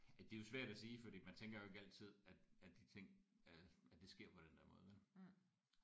Ja det er jo svært at sige fordi man tænker jo ikke altid at at de ting at at det sker den der måde vel